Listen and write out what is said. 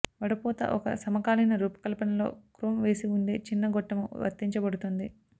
వడపోత ఒక సమకాలీన రూపకల్పన లో క్రోమ్ వేసివుండే చిన్న గొట్టము వర్తించబడుతుంది